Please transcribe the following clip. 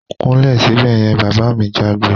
Kúnlẹ̀ sibẹ̀ yen! Bàbá mi jágbe